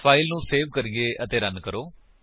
file ਨੂੰ save ਕਰੀਏ ਅਤੇ ਰਨ ਕਰੋ